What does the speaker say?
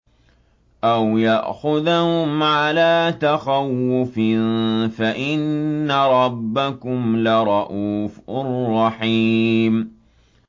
أَوْ يَأْخُذَهُمْ عَلَىٰ تَخَوُّفٍ فَإِنَّ رَبَّكُمْ لَرَءُوفٌ رَّحِيمٌ